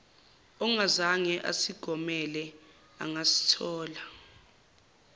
ongazange asigomele angasithola